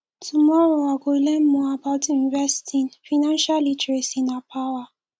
tomorrow i go learn more about investing financial literacy na power